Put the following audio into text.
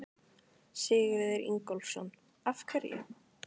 Sigurður Ingólfsson: Af hverju?